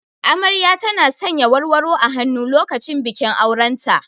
Amarya tana sanya warwaro a hannu lokacin bikin auren ta.